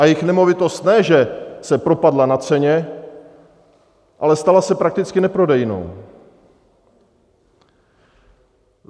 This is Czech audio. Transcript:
A jejich nemovitost ne že se propadla na ceně, ale stala se prakticky neprodejnou.